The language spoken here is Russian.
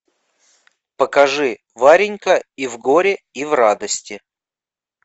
покажи варенька и в горе и в радости